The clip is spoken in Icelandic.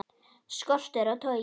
Skortur á togi